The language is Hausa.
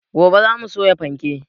Gobe za mu soya fanke